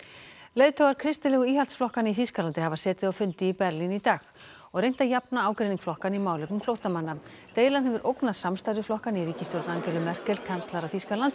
leiðtogar kristilegu íhaldsflokkanna í Þýskalandi hafa setið á fundi í Berlín í dag og reynt að jafna ágreining flokkanna í málefnum flóttamanna deilan hefur ógnað samstarfi flokkanna í ríkisstjórn Angelu Merkel kanslara Þýskalands